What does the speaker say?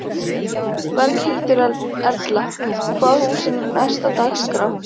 Berghildur Erla: Hvaða hús er er næst á dagskrá?